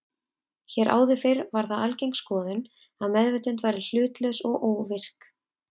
Hér áður fyrr var það algeng skoðun að meðvitund væri hlutlaus og óvirk.